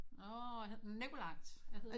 Nåh hedder den Nikolaj